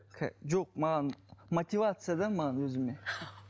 жоқ маған мотивация да маған өзіме